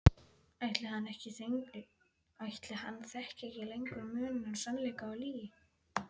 Ætli hann þekki lengur muninn á sannleika og lygi?